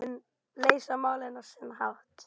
Leysa málin á sinn hátt.